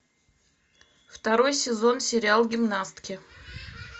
второй сезон сериал гимнастки